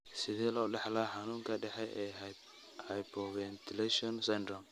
Sidee loo dhaxlaa xanuunka dhexe ee hypoventilation syndrome?